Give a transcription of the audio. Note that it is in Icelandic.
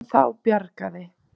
En þá bjargaði